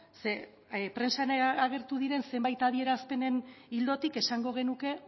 ze prentsan agertu diren zenbait adierazpenen ildotik esango genuke